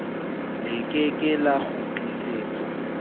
le ke ke la kgutlisetswa